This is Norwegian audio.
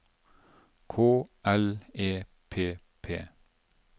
K L E P P